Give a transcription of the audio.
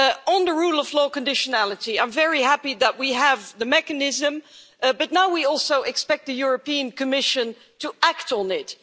On the rule of law conditionality, I'm very happy that we have the mechanism, but now we also expect the European Commission to act on it.